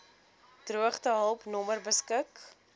droogtehulp nommer beskik